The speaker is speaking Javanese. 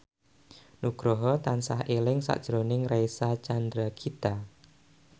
Nugroho tansah eling sakjroning Reysa Chandragitta